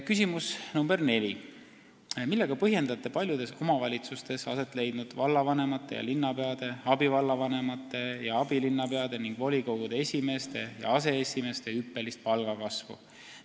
Küsimus nr 4: "Millega põhjendate paljudes omavalitsustes aset leidnud vallavanemate ja linnapeade, abivallavanemate ja abilinnapeade ning volikogude esimeeste ja aseesimeeste hüppelist palgakasvu?